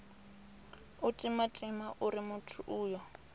u timatima uri muthu uyo